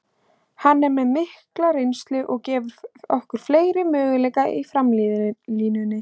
Hann er með mikla reynslu og gefur okkur fleiri möguleika í framlínunni.